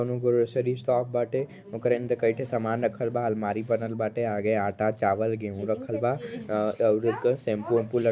अनो grocery shop बाटे ओकरे अंदर कई ठे सामान रखल बा। आलमारी बनल बाटे। आगे आटा चावल गेहू रखल बा अं अउर एक सेम्पू अंपु ल् --